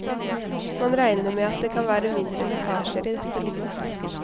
Man regner med at det kan være mindre lekkasjer i dette rommet.